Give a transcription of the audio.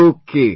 Okay